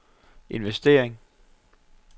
investering